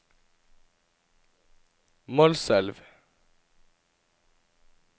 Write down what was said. Målselv